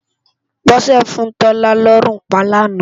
Bose fún Tola lòrún pá láná